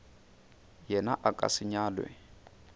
yena a ka se nyalwe